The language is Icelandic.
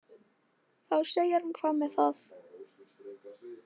Þá segir hann Hvað með það.